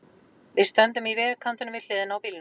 Við stöndum í vegkantinum, við hliðina á bílnum.